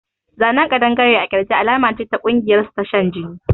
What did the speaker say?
A tattooof a lizard on the chest is a sign of their secret cult